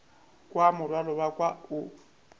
kwa morwalo wa ka o